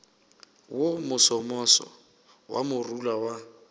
wo mosomoso wa morula wa